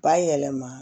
Bayɛlɛma